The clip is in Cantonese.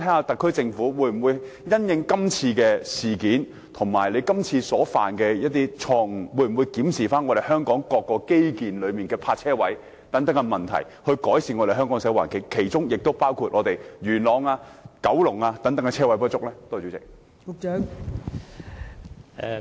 特區政府會否因應這次事件及犯下的錯誤，檢討香港各項基建的泊車位數目，以改善香港的社會環境，包括改善元朗及九龍等地泊車位不足的問題呢？